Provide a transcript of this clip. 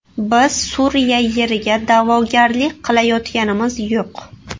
Biz Suriya yeriga da’vogarlik qilayotganimiz yo‘q.